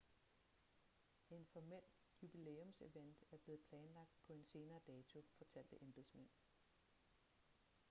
en formel jubilæumsevent er blevet planlagt på en senere dato fortalte embedsmænd